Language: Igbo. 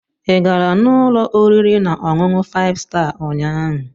Ị gara n'ụlọ oriri na ọṅụṅụ five star ụnyahụ??